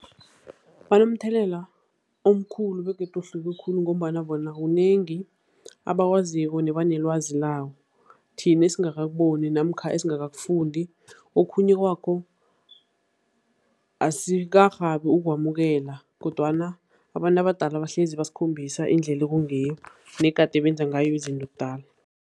Banomthelela omkhulu begodu ohluke khulu ngombana bona kunengi abakwaziko nebanelwazi lawo, thina esingakakuboni namkha esingakakufundi. Okhunye kwakho, asikarhabi ukwamukela kodwana abantu abadala bahlezi basikhombisa indlela ekungiyo negade benza ngayo izinto kudala.